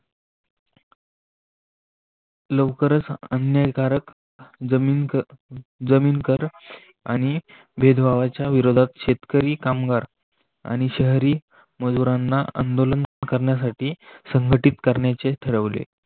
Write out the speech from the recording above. लवकरच अन्यायकारक जमीन जमीन कर आणि भेदभावाच्या विरोधात शेतकरी कामगार आणि शहरी मजुरांना आंदोलन करण्यासाठी संघटित करण्याचे ठरवले